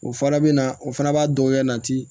O fana bɛ na o fana b'a dɔgɔya nati